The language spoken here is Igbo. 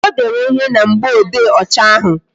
O dere ihe na mgboede ọcha ahụ